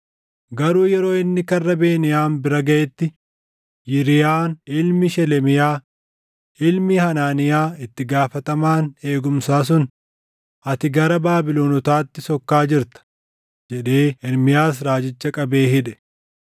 Garuu yeroo inni karra Beniyaam bira gaʼetti Yiriyaan ilmi Shelemiyaa, ilmi Hanaaniyaa itti gaafatamaan eegumsaa sun, “Ati gara Baabilonotaatti sokkaa jirta!” jedhee Ermiyaas raajicha qabee hidhe.